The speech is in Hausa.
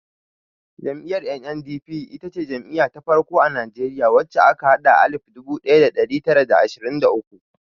Jam'iyyar NNDP ita ce jam'iya ta farko a Najeriya wacce aka haɗa tun alif dubu ɗaya da ɗari tara da ashirin da uku.